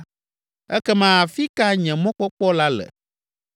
ekema afi ka nye mɔkpɔkpɔ la le?